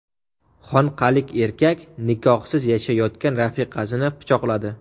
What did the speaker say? Xonqalik erkak nikohsiz yashayotgan rafiqasini pichoqladi.